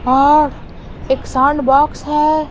और एक sound box है।